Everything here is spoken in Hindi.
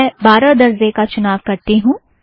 मैं बारह दर्ज़े का चुनाव करती हूँ